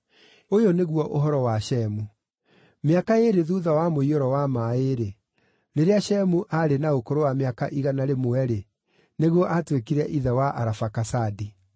Ũyũ nĩguo ũhoro wa Shemu. Mĩaka ĩĩrĩ thuutha wa mũiyũro wa maaĩ-rĩ, rĩrĩa Shemu aarĩ na ũkũrũ wa mĩaka igana rĩmwe-rĩ, nĩguo aatuĩkire ithe wa Arafakasadi.